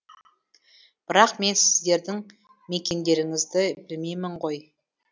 бірақ мен сіздердің мекендеріңізді білмеймін ғой